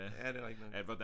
Ja det er rigtig nok